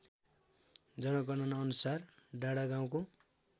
जनगणनाअनुसार डाँडागाउँको